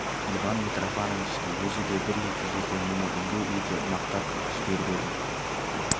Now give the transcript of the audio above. иван митрофановичтің өзі де бір-екі жерде мұны үлгі ете мақтап жіберіп еді